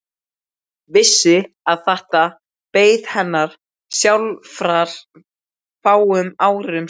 Vissi að þetta beið hennar sjálfrar fáum árum síðar.